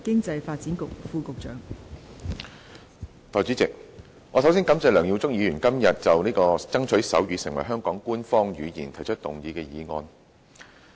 代理主席，首先，我感謝梁耀忠議員今天就"爭取手語成為香港官方語言"提出議案。